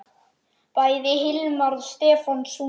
Bæði Hilmar og Stefán sungu.